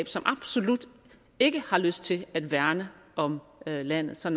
som absolut ikke har lyst til at værne om landet så